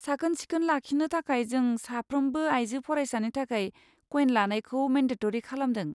साखोन सिखोन लाखिनो थाखाय जों साफ्रोमबो आइजो फरायसानि थाखाय कयेन लानायखौ मेनडेट'रि खालामदों।